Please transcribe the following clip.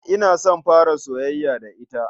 Ina son fara soyayya da ita.